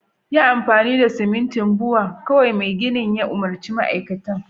yi amfani da simintin Bua kawai Mai gini ya umurci ma'aikacin